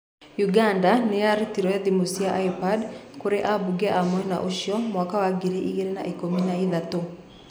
Uganda niyarutire thimũ cia iPad kũri abunge a mwena ũcio mwaka wa ngiri igĩrĩ na ikũmi na ithatũ.